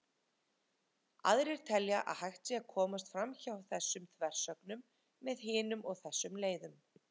Aðrir telja að hægt sé að komast framhjá þessum þversögnum með hinum eða þessum leiðum.